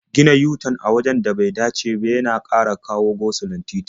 Gina yu-tan a wajen da bai dace ba yana ƙara go-sulon titi.